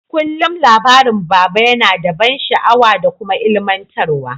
Kullum labarin baba yana da ban sha'awa da kuma ilmantar wa.